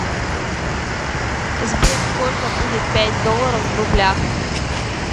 сбер сколько будет пять долларов в рублях